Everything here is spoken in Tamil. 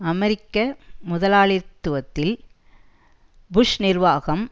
அமெரிக்க முதலாளிதுவதில் புஷ் நிர்வாகம்